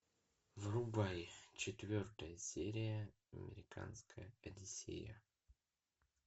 врубай четвертая серия американская одиссея